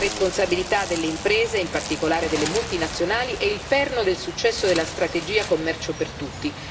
La responsabilità delle imprese, in particolare delle multinazionali, è il perno del successo della strategia commercio per tutti.